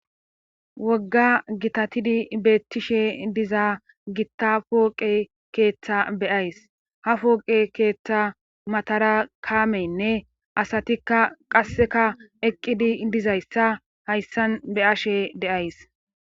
wogga gitatidi beettishe diza gitta pooqe keeththa beyays ha fooqe keeththa matara kaamenne asatikka qasseka eqqidi dizayssa hayssan be ashe deays